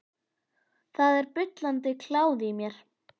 Það er bullandi kláði í mér.